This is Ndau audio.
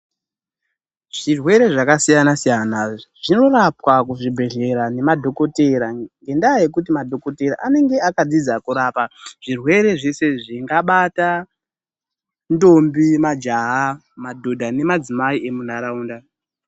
Zvirwere zvakasiyana siyana zvinorapwa kuzvibhedhlera nemadhokodheya ngendaa yekuti madhokodheya anenge akafunda kurapa zvirwere zvese izvi zvingabata ndombi, majaha, madhodha nemadzimai emunharaunda.